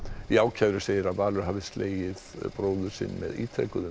í ákæru segir að Valur hafi slegið bróður sinn með ítrekuðum